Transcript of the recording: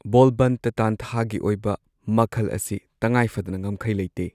ꯕꯣꯜꯕꯟꯠꯇ ꯇꯥꯟꯊꯥꯒꯤ ꯑꯣꯏꯕ ꯃꯈꯜ ꯑꯁꯤ ꯇꯉꯥꯏꯐꯗꯅ ꯉꯝꯈꯩ ꯂꯩꯇꯦ꯫